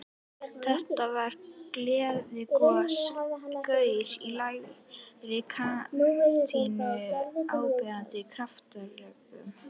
Þetta var gleiðgosalegur gaur í lægri kantinum, áberandi kraftalegur.